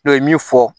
min fɔ